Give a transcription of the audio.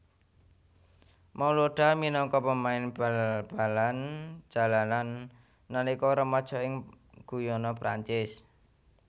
Malouda minangka pemain bal balan jalanan nalika remaja ing Guyana Perancis